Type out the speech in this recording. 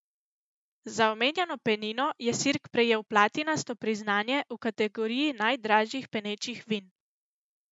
Za omenjeno penino je Sirk prejel platinasto priznanje v kategoriji najdražjih penečih vin.